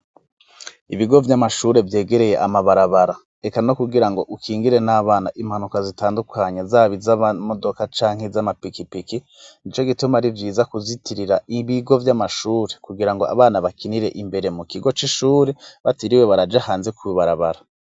Ibigo vy'amashure vyegereye amabarabara, eka no kugira ngo ukingire n'abana impanuka zitandukanye zab iz'amamodoka ca nki z'amapikipiki nicyo gituma ari vyiza kuzitirira ibigo vy'amashure kugira ngo abana bakinire imbere mu kigo c'ishure bateriwe baraje hanze ku bibarabara.